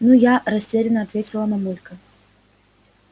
ну я растеряно ответила мамулька